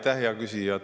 Aitäh, hea küsija!